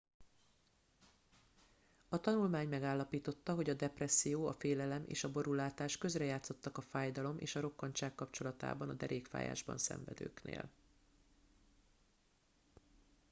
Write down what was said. a tanulmány megállapította hogy a depresszió a félelem és a borúlátás közrejátszottak a fájdalom és a rokkantság kapcsolatában a derékfájásban szenvedőknél